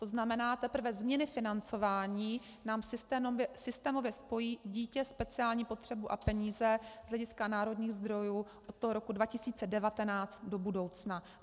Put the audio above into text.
To znamená, teprve změny financování nám systémově spojí dítě, speciální potřebu a peníze z hlediska národních zdrojů od toho roku 2019 do budoucna.